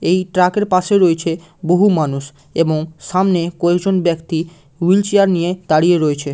এই ট্রাকের পাশে রয়েছে বহু মানুষ এবং সামনে কয়েকজন ব্যক্তি হুইল-চেয়ার নিয়ে দাঁড়িয়ে রয়েছে।